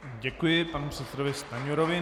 Děkuji panu předsedovi Stanjurovi.